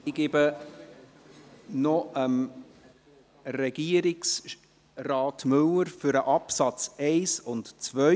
Ich gebe das Wort noch Regierungsrat Müller zu den Absätze 1 und 2.